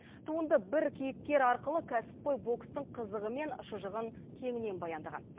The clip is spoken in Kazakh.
туынды бір кейіпкер арқылы кәсіпқой бокстың қызығы мен шыжығын кеңінен баяндаған